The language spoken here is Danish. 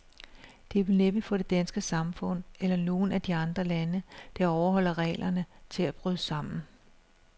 Det vil næppe få det danske samfund, eller nogen af de andre lande, der overholder reglerne, til at bryde sammen.